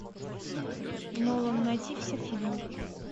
нолан найти все фильмы